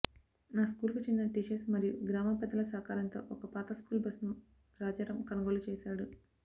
ఆ స్కూల్కు చెందిన టీచర్స్ మరియు గ్రామ పెద్దల సహకారంతో ఒక పాత స్కూల్ బస్సును రాజారాం కొనుగోలు చేశాడు